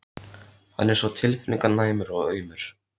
Hann er svo tilfinninganæmur og aumur.